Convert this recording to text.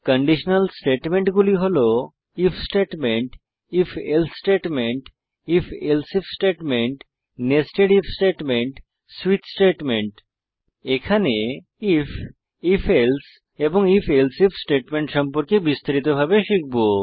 conditional স্টেটমেন্টগুলি হল if statement if else statement if else if statement nested if statement switch statement এখানে if if else এবং if else if statement সম্পর্কে বিস্তারিতভাবে শিখব